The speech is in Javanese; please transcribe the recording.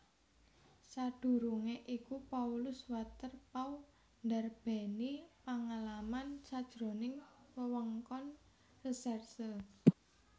Sadurungé iku Paulus Waterpauw ndarbèni pangalaman sajroning wewengkon resèrse